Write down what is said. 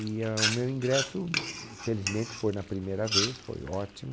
E ahn, o meu ingresso, felizmente, foi na primeira vez, foi ótimo.